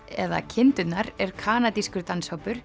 eða kindurnar er kanadískur